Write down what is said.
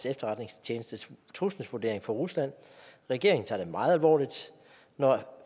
efterretningstjenestes trusselsvurdering for rusland regeringen tager det meget alvorligt når